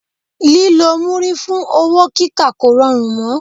Lílọ múrí fún owó kíkà kò rọrùn mọ́.